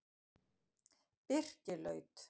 Birkilaut